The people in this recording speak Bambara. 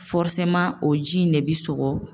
Fɔriseman o ji in de be sɔgɔ